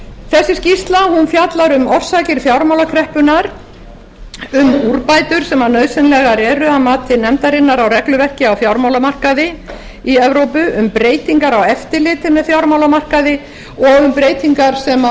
þessi skýrsla fjallar um orsakir fjármálakreppunnar um úrbætur sem nauðsynlegar eru að mati nefndarinnar á regluverki á fjármálamarkaði í evrópu um breytingar á eftirliti með fjármálamarkaði og um breytingar sem að